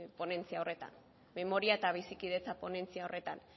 ponentzia horretan memoria eta bizikidetza ponentzia horretan